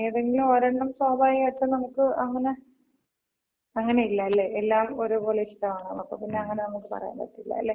ഏതെങ്കിലും ഒരെണ്ണം സ്വാഭാവികായിട്ടും നമുക്ക് അങ്ങനെ? അങ്ങന ഇല്ല അല്ലെ? എല്ലാം ഒരേപോലെ ഇഷ്ടാണല്ലോ. അപ്പൊ പിന്നെ അങ്ങനെ നമുക്ക് പറയാന് പറ്റില്ല. അല്ലെ?